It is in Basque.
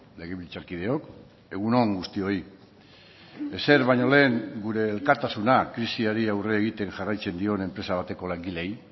legebiltzarkideok egun on guztioi ezer baino lehen gure elkartasuna krisiari aurre egiten jarraitzen dion enpresa bateko langileei